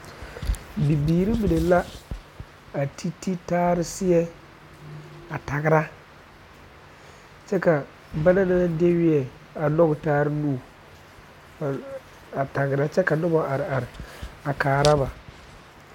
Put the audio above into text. Bnyɔgeibiiri la a deɛnɛ tagere taa ba la taa nuure kyɛ tagera bayi maŋ be a nimitɔɔre ba su kparɛɛ ba mine meŋ are la a kyɛ kaara a laara a biiri poɔ pɛlɛɛ la